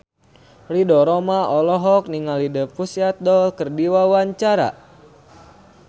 Ridho Roma olohok ningali The Pussycat Dolls keur diwawancara